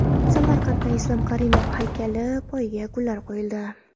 Samarqandda Islom Karimov haykali poyiga gullar qo‘yildi.